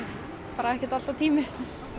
bara ekkert alltaf tími